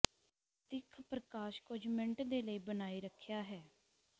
ਦਿੱਖ ਪ੍ਰਕਾਸ਼ ਕੁਝ ਮਿੰਟ ਦੇ ਲਈ ਬਣਾਈ ਰੱਖਿਆ ਹੈ